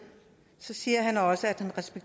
er